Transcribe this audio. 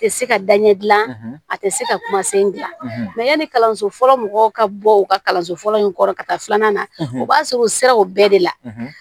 Tɛ se ka daɲɛ dilan a tɛ se ka kuma sen dilan yanni kalanso fɔlɔ mɔgɔw ka bɔ u ka kalanso fɔlɔ in kɔrɔ ka taa filanan na u b'a sɔrɔ u sera o bɛɛ de la